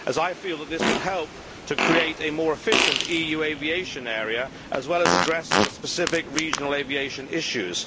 I feel that this would help to create a more efficient EU aviation area as well as addressing the specific regional aviation issues.